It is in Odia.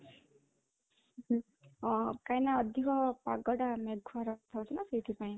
ଅ କାହିଁକି ନା ଅଧିକ ପାଗଟା ମେଘୁଆ ରହିଥାଉଛି ନା ସେଇଥିପାଇଁ